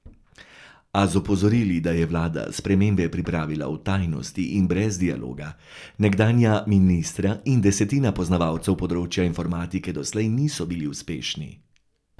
A z opozorili, da je vlada spremembe pripravila v tajnosti in brez dialoga, nekdanja ministra in desetina poznavalcev področja informatike doslej niso bili uspešni.